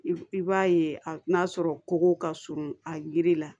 I b'a ye n'a sɔrɔ kogow ka surun a yiri la